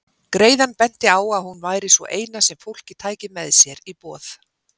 Greiðan benti á að hún væri sú eina sem fólkið tæki með sér í boð.